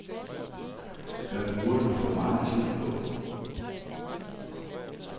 Hvad bruger du for megen tid på?